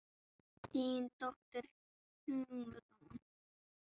Þín dóttir, Hugrún.